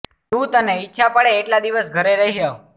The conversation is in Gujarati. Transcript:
તું તને ઈચ્છા પડે એટલા દિવસ ઘરે રહી આવ